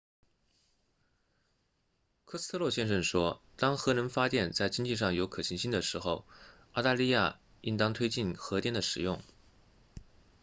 科斯特洛先生说当核能发电在经济上有可行性的时候澳大利亚应当推进核电的使用